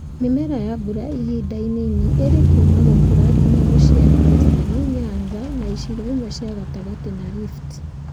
Mĩmera ya mbura ihinda inini ĩrĩ kuma gũkũra nginya gũciara Western, Nyanza, na icigo imwe cia gatagatĩ, na Rift